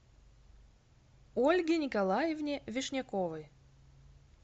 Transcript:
ольге николаевне вишняковой